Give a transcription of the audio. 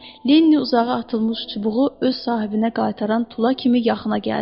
Linni uzağa atılmış çubuğu öz sahibinə qaytaran tula kimi yaxına gəldi.